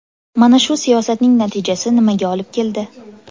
Mana shu siyosatning natijasi nimaga olib keldi?